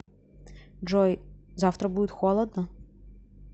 джой завтра будет холодно